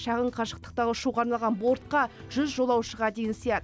шағын қашықтықтағы ұшуға арналған бортқа жүз жолаушыға дейін сыяды